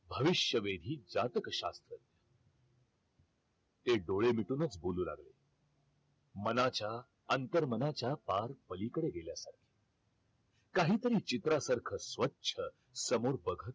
भविष्यवेधी जातक शास्त्र ते डोळे मिटूनच बोलू लागले मनाच्या अंतर मनाच्या पार पलीकडेच गले होत काही तरी चित्रासारख स्वच्छ समोर बघत